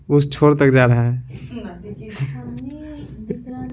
उस छोर तक जा रहा है।